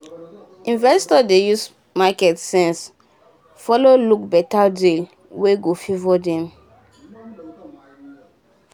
investors dey use market sense follow look better deal wey go favour dem